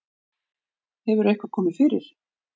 Hefur eitthvað komið fyrir?